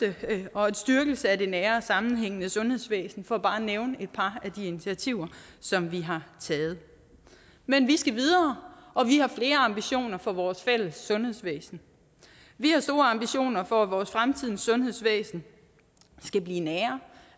og en styrkelse af det nære og sammenhængende sundhedsvæsen for bare at nævne et par af de initiativer som vi har taget men vi skal videre og vi har flere ambitioner for vores fælles sundhedsvæsen vi har store ambitioner om at fremtidens sundhedsvæsen skal blive nærere